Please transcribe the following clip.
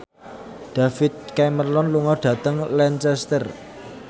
David Cameron lunga dhateng Lancaster